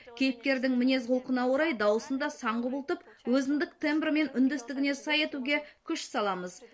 кейіпкердің мінез құлқына орай дауысын да сан құбылтып өзіндік тембрі мен үндестігіне сай етуге күш саламыз